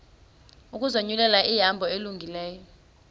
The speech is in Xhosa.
ukuzinyulela ihambo elungileyo